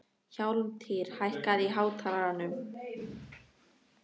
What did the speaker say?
Hjálmtýr, hækkaðu í hátalaranum.